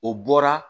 O bɔra